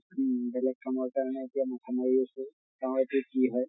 উম বেলেগ কামৰ কাৰিণে এতিয়া মাথা মাৰি আছো। চাওঁ এতিয়া কি হয়।